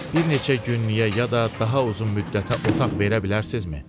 Bir neçə günlük ya da daha uzun müddətə otaq verə bilərsinizmi?